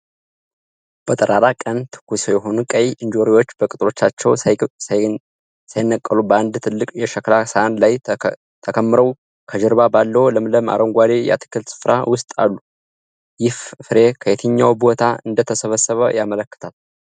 በጠራራ ቀን፣ ትኩስ የሆኑ ቀይ እንጆሪዎች በቅጠሎቻቸው ሳይነቀሉ በአንድ ትልቅ የሸክላ ሳህን ላይ ተከምረው፣ ከጀርባ ባለው ለምለም አረንጓዴ የአትክልት ስፍራ ውስጥ አሉ። ይህ ፍሬ ከየትኛው ቦታ እንደተሰበሰበ ያመለክታል?